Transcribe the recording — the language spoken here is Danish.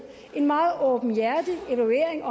en meget åbenhjertig evaluering